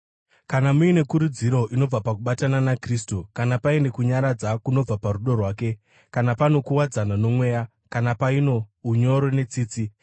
Kana muine kurudziro inobva pakubatana naKristu, kana paine kunyaradza kunobva parudo rwake, kana pano kuwadzana noMweya, kana paino unyoro netsitsi,